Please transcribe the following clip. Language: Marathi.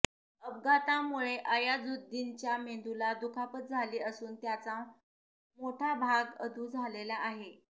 अपघातामुळे अयाझुद्दीनच्या मेंदूला दुखापत झाली असून त्याचा मोठा भाग अधू झालेला आहे